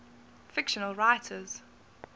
fictional writers